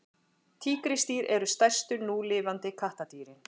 tígrisdýr eru stærstu núlifandi kattardýrin